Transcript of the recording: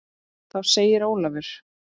Þá segir Ólafur